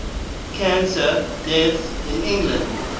cancer deaths in england